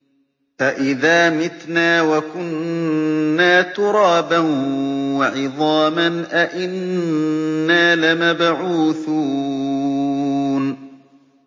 أَإِذَا مِتْنَا وَكُنَّا تُرَابًا وَعِظَامًا أَإِنَّا لَمَبْعُوثُونَ